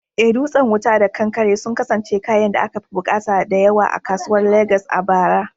Eh, dutsen wuta da kankare sun kasance kayan da akafi bukata da yawa a kasuwar Legas a bara.